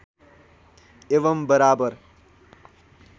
एवम् बराबर